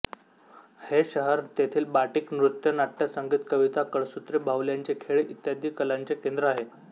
हे शहर तेथील बाटिक नृत्य नाट्य संगीत कविता कळसूत्री बाहुल्यांचे खेळ इ कलांचे केंद्र आहे